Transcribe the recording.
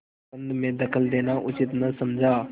प्रबंध में दखल देना उचित न समझा